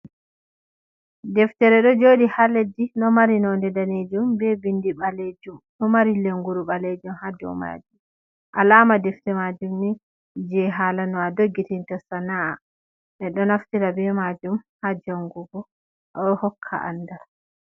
Deftere ɗo jooɗi ha leddi, ɗo mari nonde daneejuum, be bindi ɓaleejuum, ɗoo mari lenguru, ɓaleejum ha dou majuum. Alama deftere majuumni je hala no a jogirta sana’a, ɓe ɗoo naftira be majuum ha jangugoo ɗoo hokka andal.